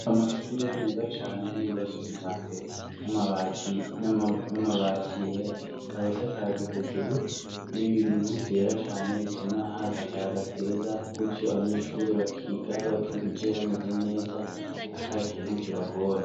Amashure meza cane bibasuka ija mbere n'amabati yera ikabahsakaje hejuru n'ibintuvyera cane bituma hazi akayaga keza kutyo abanyeshure bakiga batuje bameze neza ata kintu kibagora.